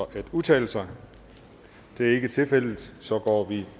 at udtale sig det er ikke tilfældet så går vi